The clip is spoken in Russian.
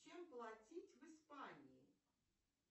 чем платить в испании